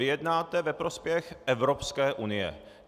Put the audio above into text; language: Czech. Vy jednáte ve prospěch Evropské unie.